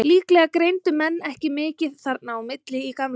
Líklega greindu menn ekki mikið þarna á milli í gamla daga.